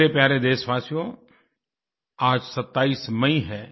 मेरे प्यारे देशवासियो आज 27 मई है